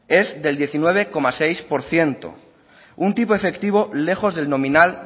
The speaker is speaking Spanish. es del diecinueve coma seis por ciento un tipo efectivo lejos del nominal